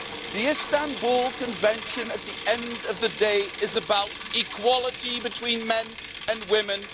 The Istanbul Convention, at the end of the day, is about equality between men and women.